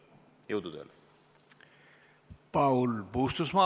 Jõudu tööle!